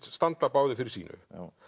standa báðir fyrir sínu